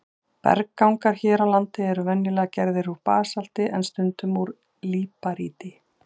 Berggangar hér á landi eru venjulega gerðir úr basalti en stundum úr líparíti.